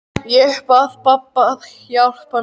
Ég bað pabba að hjálpa mér.